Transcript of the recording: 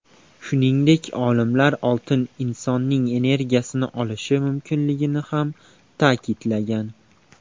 Shuningdek, olimlar oltin insonning energiyasini olishi mumkinligini ham ta’kidlagan.